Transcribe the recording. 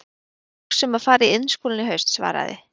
Ég er að hugsa um að fara í Iðnskólann í haust, svaraði